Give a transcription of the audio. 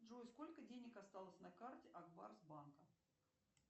джой сколько денег осталось на карте ак барс банка